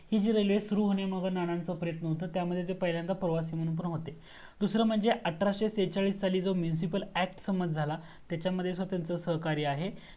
ती जी RAILWAY सुरू होण्यामागे जे प्रयत्न होतं. ते जे पहिल्यांदा प्रवासी म्हणून पण होते दूसरा म्हणजे अठराशे शेचाळीस साली munciple act सहमत झाला त्याचमध्ये पण त्यांच सहकार्य आहे